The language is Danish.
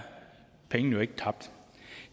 pengene jo ikke tabt